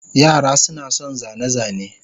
Yara suna son zane-zane.